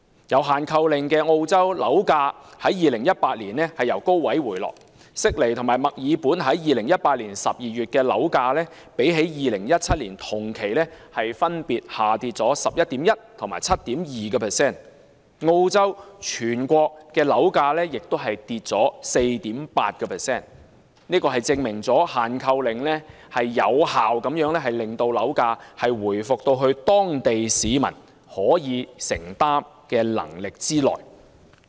有"限購令"的澳洲，樓價在2018年從高位回落，悉尼和墨爾本2018年12月的樓價，較2017年同期分別下跌 11.1% 和 7.2%， 澳洲全國樓價亦下跌 4.8%， 證明"限購令"有效令樓價回復至當地市民可負擔能力之內。